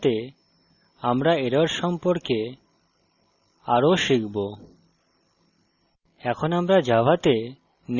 শ্রেণী এগোনোর সাথে আমরা errors সম্পর্কে আরও শিখবো